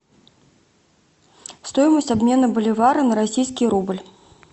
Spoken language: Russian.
стоимость обмена боливара на российский рубль